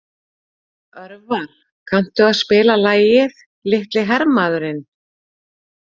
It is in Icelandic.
Örvar, kanntu að spila lagið „Litli hermaðurinn“?